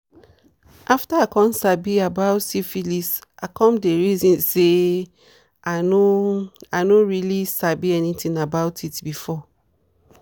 after i come sabi about syphilis i come the reason say i i no really sabi anything about it before.